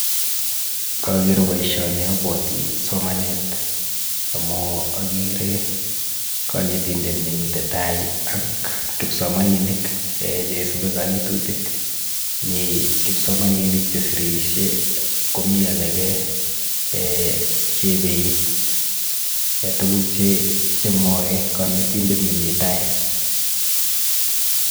Ngager boisioni abwati somanet amu agere konetindet nemite tai ak kipsomaninik ee cheisupi kanetutik. Mi kipsomaninik chesirisie komi alage ee che epeit tuguk che mwae konetindet nemi tai.